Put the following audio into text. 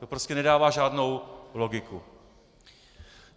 To prostě nedává žádnou logiku.